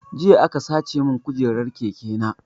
Jiya aka sace mun kujeran keke na